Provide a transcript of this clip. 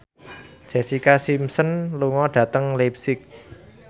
Jessica Simpson lunga dhateng leipzig